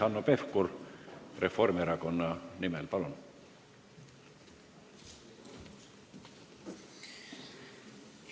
Hanno Pevkur Reformierakonna nimel, palun!